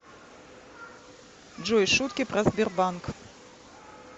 джой шутки про сбербанк